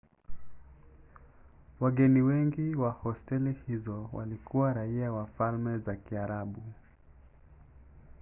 wageni wengi wa hosteli hizo walikuwa raia wa falme za kiarabu